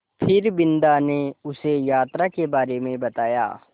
फिर बिन्दा ने उसे यात्रा के बारे में बताया